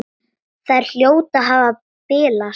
Þær hljóta að hafa bilast!